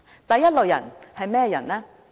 第一類人是甚麼人呢？